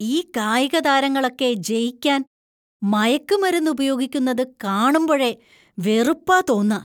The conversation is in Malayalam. ഈ കായികതാരങ്ങളൊക്കെ ജയിക്കാൻ മയക്കുമരുന്ന് ഉപയോഗിക്കുന്നത് കാണുമ്പോഴേ വെറുപ്പാ തോന്നാ.